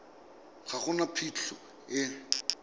ga go na phitlho e